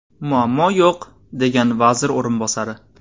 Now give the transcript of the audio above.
Muammo yo‘q”, degan vazir o‘rinbosari.